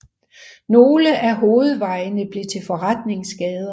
Nogle af hovedvejene blev til forretningsgader